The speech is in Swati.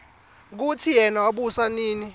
kutsi yena wabusa nini